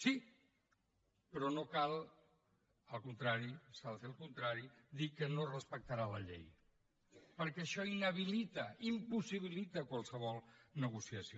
sí però no cal al contrari s’ha de fer el contrari dir que no es respectarà la llei perquè això inhabilita impossibilita qualsevol negociació